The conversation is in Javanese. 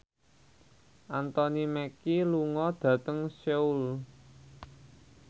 Anthony Mackie lunga dhateng Seoul